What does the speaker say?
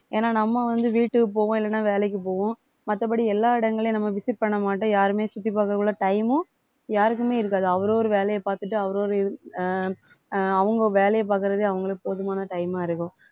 ஏன்னா நம்ம வந்து வீட்டுக்கு போவோம் இல்லைன்னா வேலைக்கு போவோம் மத்தபடி எல்லா இடங்களையும் நம்ம visit பண்ண மாட்டோம் யாருமே சுத்தி பார்க்க time மும் யாருக்குமே இருக்காது அவரவர் வேலையை பார்த்துட்டு அவரவர் அஹ் அஹ் அவுங்க வேலையை பார்க்கிறதே அவுங்களுக்கு போதுமான time ஆ இருக்கும்